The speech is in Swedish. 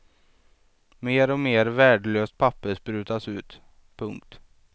Mer och mer värdelöst papper sprutas ut. punkt